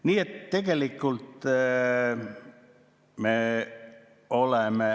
Nii et tegelikult me oleme ...